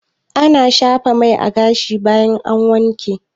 Ana shafa mai a gashi bayan an wanke